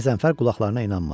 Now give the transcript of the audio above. Qəzənfər qulaqlarına inanmadı.